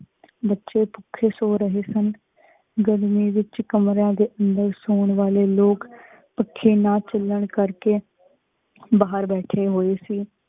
ਬਚੀ ਭੁੱਖੇ ਸੋ ਰਹੇ ਸਨ ਗਰਮੀ ਵਿਚ ਕਮਰਾਂ ਦੇ ਅੰਦਰ ਸੌਣ ਵਾਲੇ ਲੀਕ ਪੱਖੇ ਨਾ ਚਲਣ ਕਰ ਕੀ ਕਰਕੇ ਬਾਹਰ ਬੈਠੇ ਹੋਏ ਸੀ।